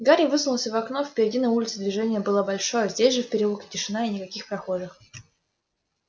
гарри высунулся в окно впереди на улице движение было большое здесь же в переулке тишина и никаких прохожих